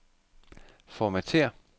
Formatér.